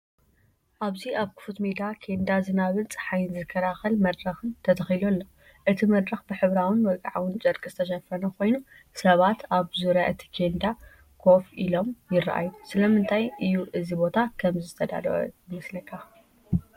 ኣብዚ ኣብ ክፉት ሜዳ ኬንዳ ዝናብን ጸሓይን ዝከላኸል መድረኽን ተተኺሉ ኣሎ። እቲ መድረኽ ብሕብራዊን ወግዓውን ጨርቂ ዝተሸፈነ ኮይኑ፡ ሰባት ኣብ ዙርያ እቲ ኬንዳ ኮፍ ኢሎም ይረኣዩ። ስለምንታይ እዩ እዚ ቦታ ከምዚ ዝተዳለወ ይመስለካ?